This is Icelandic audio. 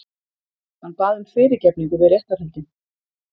Hann bað um fyrirgefningu við réttarhöldin